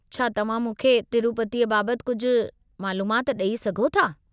छा तव्हां मूंखे तिरूपतीअ बाबति कुझु मालूमाति ॾेई सघो था?